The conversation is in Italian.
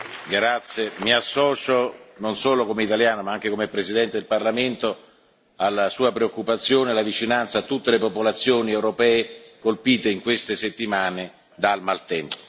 Grazie, mi associo, non solo come italiano, ma anche come Presidente del Parlamento, alla Sua preoccupazione, alla vicinanza a tutte le popolazioni europee colpite in queste settimane dal maltempo.